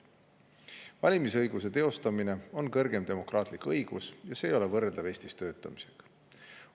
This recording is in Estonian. Valimisõiguse teostamine on kõrgem demokraatlik õigus ja see ei ole võrreldav Eestis töötamisega.